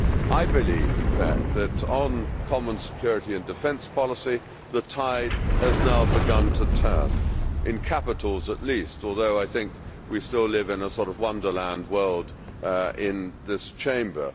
I believe in fact that on common security and defence policy the tide has now begun to turn in capitals at least, although I think we still live in a sort of wonderland world in this Chamber.